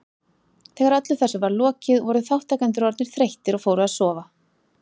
Þegar öllu þessu var lokið voru þátttakendur orðnir þreyttir og fóru að sofa.